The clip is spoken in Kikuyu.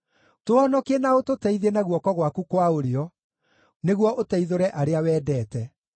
Tũhonokie na ũtũteithie na guoko gwaku kwa ũrĩo, nĩguo ũteithũre arĩa wendete.